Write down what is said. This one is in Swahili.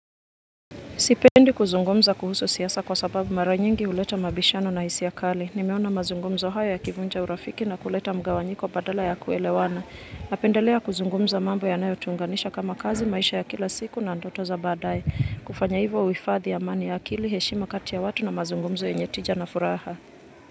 Sipendi kuzungumza kuhusu siasa kwa sababu mara nyingi huleta mabishano na hisia kali. Nimeona mazungumzo haya yakivunja urafiki na kuleta mgawanyiko badala ya kuelewana. Napendelea kuzungumza mambo yanayo tuunganisha kama kazi maisha ya kila siku na ndoto za badai. Kufanya hivo huhifathi amani ya akili, heshima kati ya watu na mazungumzo yenye tija na furaha.